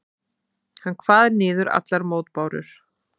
Hann kvað niður allar mótbárur.